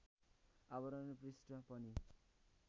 आवरण पृष्ठ पनि